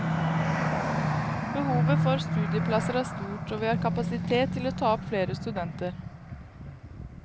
Behovet for studieplasser er stort, og vi har kapasitet til å ta opp flere studenter.